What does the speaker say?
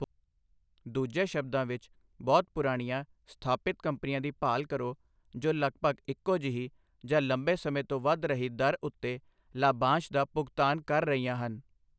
ਦੂਜੇ ਸ਼ਬਦਾਂ ਵਿੱਚ, ਬਹੁਤ ਪੁਰਾਣੀਆਂ, ਸਥਾਪਿਤ ਕੰਪਨੀਆਂ ਦੀ ਭਾਲ ਕਰੋ ਜੋ ਲਗਭਗ ਇਕੋ ਜਿਹੀ ਜਾਂ ਲੰਬੇ ਸਮੇਂ ਤੋਂ ਵੱਧ ਰਹੀ ਦਰ ਉੱਤੇ ਲਾਭਾਂਸ਼ ਦਾ ਭੁਗਤਾਨ ਕਰ ਰਹੀਆਂ ਹਨ।